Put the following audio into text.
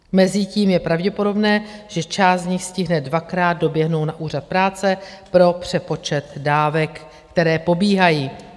Mezitím je pravděpodobné, že část z nich stihne dvakrát doběhnout na Úřad práce pro přepočet dávek, které pobírají.